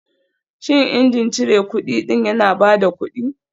Shin injin cire kudi ɗin yana ba da kuɗi